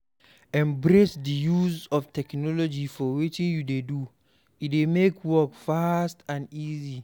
Embrace di use of technology for wetin you dey do, e dey make work fast and easy